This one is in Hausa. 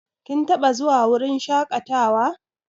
Kin taɓa zuwa wurin shaƙatawa?